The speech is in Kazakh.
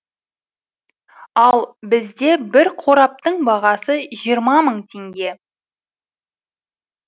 ал бізде бір қораптың бағасы жиырма мың теңге